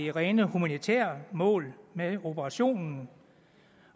er rene humanitære mål med operationen